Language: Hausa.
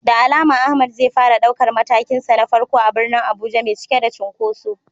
Da alama Ahmad zai fara daukar matakinsa na farko a birnin Abuja mai cike da cunkoso.